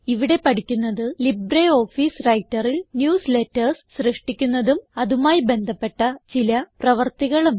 ഇവിടെ പഠിക്കുന്നത് ലിബ്രിയോഫീസ് Writerൽ ന്യൂസ്ലേറ്റർസ് സൃഷ്ടിക്കുന്നതും അതുമായി ബന്ധപ്പെട്ട ചില പ്രവർത്തികളും